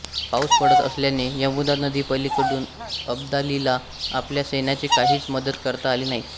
पाउस पडत असल्याने यमुना नदी पलीकडून अब्दालीला आपल्या सैन्याची काहीच मदत करता आली नाही